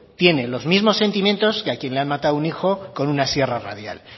tiene los mismos sentimiento que a quien le han matado un hijo con una sierra radial